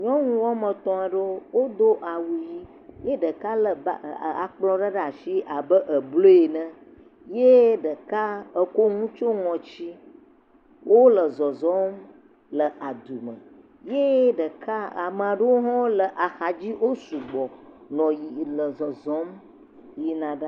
Nyɔnu woame etɔ̃ aɖewo, wodo awu ʋi ye ɖeka lé ba akplɔ ɖe ɖe asi abe …ene ye ɖeka ekɔ nu tsyɔ ŋɔti, wole zɔzɔm le adu me ye ɖeka, ame ɖewo hã le axadzi, wo sugbɔ nɔ yiyim nɔ zɔzɔm yina ɖaa.